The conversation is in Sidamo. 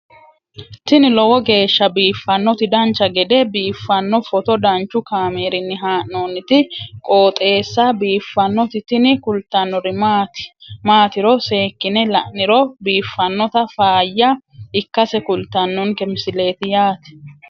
tini lowo geeshsha biiffannoti dancha gede biiffanno footo danchu kaameerinni haa'noonniti qooxeessa biiffannoti tini kultannori maatiro seekkine la'niro biiffannota faayya ikkase kultannoke misileeti yaate